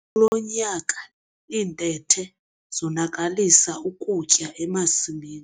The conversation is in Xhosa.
Kulo nyaka iintethe zonakalisa ukutya emasimini.